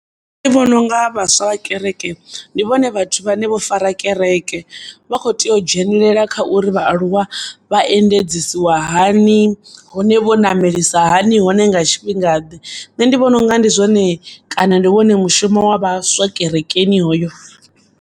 Ndi vhononga vhaswa vha kereke ndivhone vhathu vhane vhofara kereke, vha kho tea u dzhenelela kha uri vhaaluwa vhaendedzisiwa hani, hone vho namelisa hani hone nga tshifhingaḓe, nṋe ndi vhononga ndi zwone kana ndi wone mushumo wa vhaswa kerekeni hoyo.